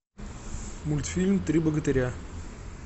мультфильм три богатыря